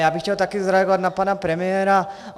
Já bych chtěl také zareagovat na pana premiéra.